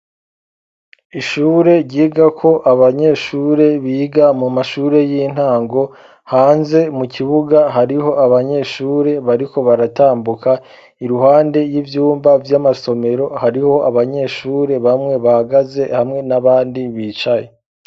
Ishure ryigako abanyeshure biga mu mashure y'intango hanze mu kibuga hariho abanyeshure bariko baratambuka iruhande y'ivyumba vy'amasomero hariho abanyeshure bamwe bahagaze ,hamwe n'abandi bicaye.